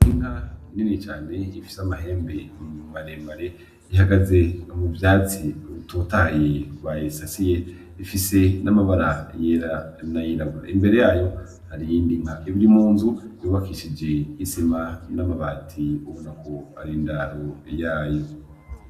Inka Nini cane ifise amahembe maremare ihagaze mu vyatsi rutotahaye bayisasiye bifise n'amabara yera, n'ayirabura. Imbere yayo hariyindi nka iba irimunzu yubakishije isima n'amabati ubonako arindaro yayo.